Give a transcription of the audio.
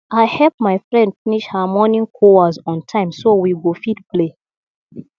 i help my friend finish her morning chores on time so we go fit play